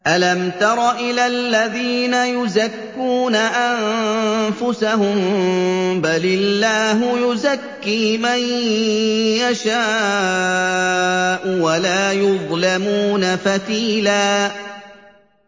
أَلَمْ تَرَ إِلَى الَّذِينَ يُزَكُّونَ أَنفُسَهُم ۚ بَلِ اللَّهُ يُزَكِّي مَن يَشَاءُ وَلَا يُظْلَمُونَ فَتِيلًا